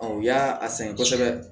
u y'a sɛgɛn kosɛbɛ